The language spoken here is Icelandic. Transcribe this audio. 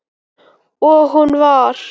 Og hún var